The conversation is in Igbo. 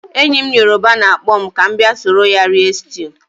Enyi m yoruba na-akpọ m ka m bia soro ya rie stew.